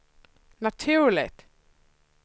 naturligt